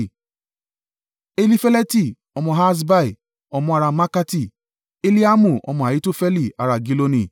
Elifeleti ọmọ Ahasbai, ọmọ ará Maakati, Eliamu ọmọ Ahitofeli ará Giloni;